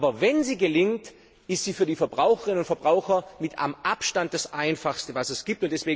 Aber wenn sie gelingt, ist sie für die Verbraucherinnen und Verbraucher mit Abstand das einfachste, was es gibt.